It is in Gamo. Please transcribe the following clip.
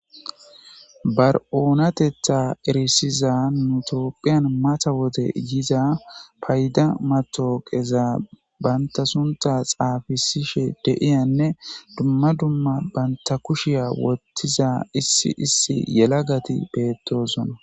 Bar7oonatetha erisiza nu tophiyan mata wode yiza payda matooqeza banta sunta xaafisishe de7iyanne dumma dumma bantta kushiya wottiza issi issi yelagati beettoosona.